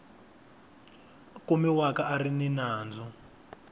kumiwaka a ri ni nandzu